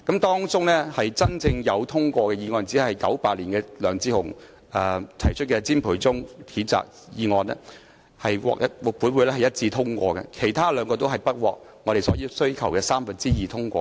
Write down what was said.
當中真正獲得通過的議案只有1998年由前議員梁智鴻提出譴責詹培忠的議案，獲本會一致通過，其餘兩項均不獲所要求的三分之二議員通過。